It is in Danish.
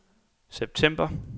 september